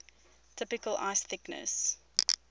typical ice thickness